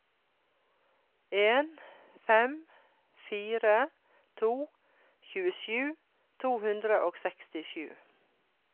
en fem fire to tjuesju to hundre og sekstisju